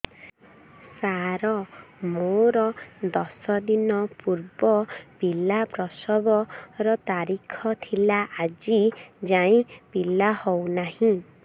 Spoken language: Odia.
ସାର ମୋର ଦଶ ଦିନ ପୂର୍ବ ପିଲା ପ୍ରସଵ ର ତାରିଖ ଥିଲା ଆଜି ଯାଇଁ ପିଲା ହଉ ନାହିଁ